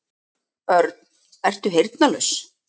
Örn, ertu heyrnarlaus?